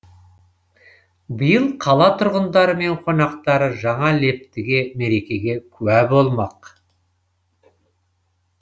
биыл қала тұрғындары мен қонақтары жаңа лептіге мерекеге куә болмақ